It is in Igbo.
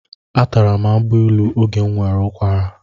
Atara m agbailu oge m nwere ụkwara.